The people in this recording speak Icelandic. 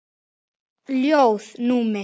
Ljóð: Númi